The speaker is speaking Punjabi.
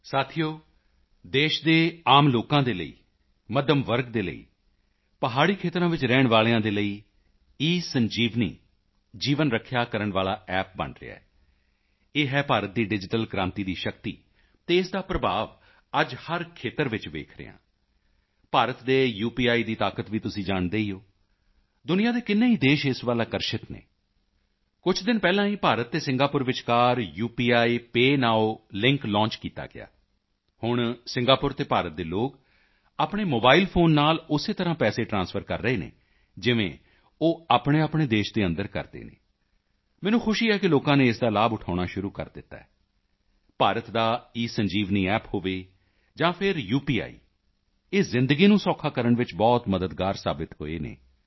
ਸਾਥੀਓ ਦੇਸ਼ ਦੇ ਆਮ ਲੋਕਾਂ ਦੇ ਲਈ ਮੱਧਮ ਵਰਗ ਦੇ ਲਈ ਪਹਾੜੀ ਖੇਤਰਾਂ ਵਿੱਚ ਰਹਿਣ ਵਾਲਿਆਂ ਦੇ ਲਈ ਈਸੰਜੀਵਨੀ ਜੀਵਨ ਰੱਖਿਆ ਕਰਨ ਵਾਲਾ ਐਪ ਬਣ ਰਿਹਾ ਹੈ ਇਹ ਹੈ ਭਾਰਤ ਦੀ ਡਿਜੀਟਲ ਕ੍ਰਾਂਤੀ ਦੀ ਸ਼ਕਤੀ ਅਤੇ ਇਸ ਦਾ ਪ੍ਰਭਾਵ ਅੱਜ ਹਰ ਖੇਤਰ ਵਿੱਚ ਵੇਖ ਰਹੇ ਹਾਂ ਭਾਰਤ ਦੇ ਯੂਪੀਆਈ ਦੀ ਤਾਕਤ ਵੀ ਤੁਸੀਂ ਜਾਣਦੇ ਹੀ ਹੋ ਦੁਨੀਆਂ ਦੇ ਕਿੰਨੇ ਹੀ ਦੇਸ਼ ਇਸ ਵੱਲ ਆਕਰਸ਼ਿਤ ਹਨ ਕੁਝ ਦਿਨ ਪਹਿਲਾਂ ਹੀ ਭਾਰਤ ਅਤੇ ਸਿੰਗਾਪੁਰ ਵਿਚਕਾਰ ਉਪੀਪੇਅ ਨੋਵ ਲਿੰਕ ਲੌਂਚ ਕੀਤਾ ਗਿਆ ਹੁਣ ਸਿੰਗਾਪੁਰ ਅਤੇ ਭਾਰਤ ਦੇ ਲੋਕ ਆਪਣੇ ਮੋਬਾਈਲ ਫੋਨ ਨਾਲ ਉਸੇ ਤਰ੍ਹਾਂ ਪੈਸੇ ਟਰਾਂਸਫਰ ਕਰ ਰਹੇ ਹਨ ਜਿਵੇਂ ਉਹ ਆਪਣੇਆਪਣੇ ਦੇਸ਼ ਦੇ ਅੰਦਰ ਕਰਦੇ ਹਨ ਮੈਨੂੰ ਖੁਸ਼ੀ ਹੈ ਕਿ ਲੋਕਾਂ ਨੇ ਇਸ ਦਾ ਲਾਭ ਉਠਾਉਣਾ ਸ਼ੁਰੂ ਕਰ ਦਿੱਤਾ ਹੈ ਭਾਰਤ ਦਾ ਈਸੰਜੀਵਨੀ ਐਪ ਹੋਵੇ ਜਾਂ ਫਿਰ ਯੂਪੀਆਈ ਇਹ ਜ਼ਿੰਦਗੀ ਨੂੰ ਸੌਖਾ ਕਰਨ ਵਿੱਚ ਬਹੁਤ ਮਦਦਗਾਰ ਸਾਬਿਤ ਹੋਏ ਹਨ